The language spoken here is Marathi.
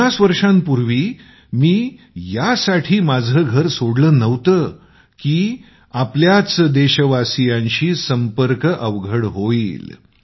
पन्नास वर्षांपूर्वी मी यासाठी माझें घर सोडलं नव्हतं की आपल्याच देशवासियांशी संपर्क अवघड व्हावा